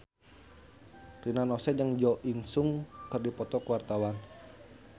Rina Nose jeung Jo In Sung keur dipoto ku wartawan